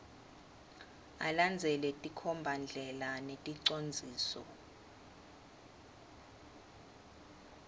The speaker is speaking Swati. alandzele tinkhombandlela neticondziso